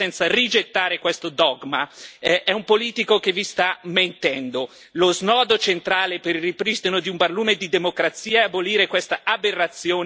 Lo snodo centrale per il ripristino di un barlume di democrazia è abolire questa aberrazione e togliere dalle mani di burocrati non eletti da nessuno questo potere.